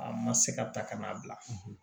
A ma se ka ta ka n'a bila